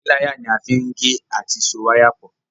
Píláyà ní a fín gè àti so waya pọ